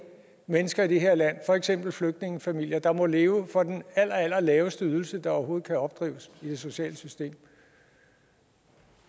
mennesker i det her land for eksempel flygtningefamilier der må leve for den allerallerlaveste ydelse der overhovedet kan opdrives i det sociale system